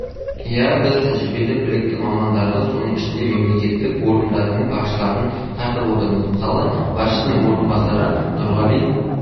ия біз тәжірибелі білікті мамандарды соның ішінде мемлекеттік органдардың басшыларын тартып отырмыз мысалы басшысының орынбасары нұрғали